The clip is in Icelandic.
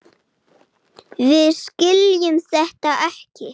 Við skiljum þetta ekki.